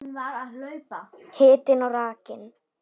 Hitinn og rakinn.